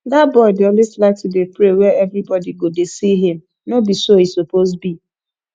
dat boy dey always like to dey pray where everybody go dey see him no be so e suppose be